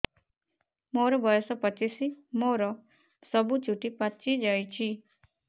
ମୋର ବୟସ ପଚିଶି ମୋର ସବୁ ଚୁଟି ପାଚି ଯାଇଛି